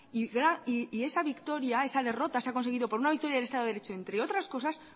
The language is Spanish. y esa derrota se ha conseguido por una victoria del estado de derecho entre otras cosas